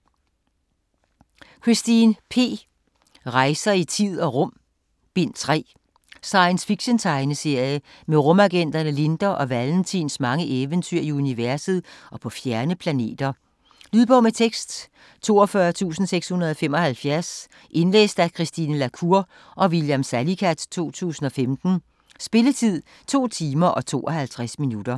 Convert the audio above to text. Christin, P.: Rejser i tid og rum: Bind 3 Science fiction-tegneserie om rumagenterne Linda og Valentins mange eventyr i universet og på fjerne planeter. Lydbog med tekst 42675 Indlæst af Christine la Cour og William Salicath, 2015. Spilletid: 2 timer, 52 minutter.